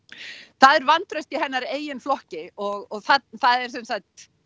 það er vantraust í hennar eigin flokki og það eru sem sagt